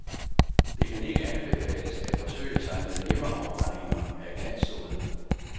Det kan ikke anbefales at forsøge sig med hjemmeafbrændinger af glanssod.